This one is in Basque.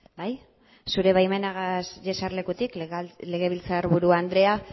bai zure baimenagaz eserlekutik legebiltzarburu andrea